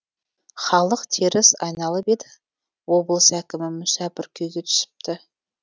халық теріс айналып еді облыс әкімі мүсәпір күйге түсіпті